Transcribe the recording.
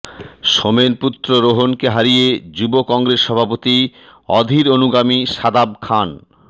সোমেনপুত্র রোহনকে হারিয়ে যুব কংগ্রেস সভাপতি অধীর অনুগামী শাদাব খান